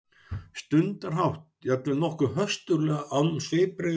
stundarhátt, jafnvel nokkuð höstuglega, án svipbrigða þó.